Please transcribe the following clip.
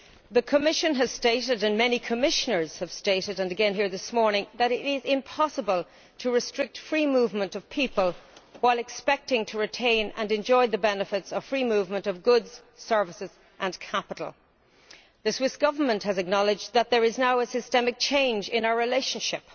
The Commission has stated, and many Commissioners have stated including here this morning that it is impossible to restrict free movement of people while expecting to retain and enjoy the benefits of free movement of goods, services and capital. The Swiss Government has acknowledged that there is now a systemic change in our relationship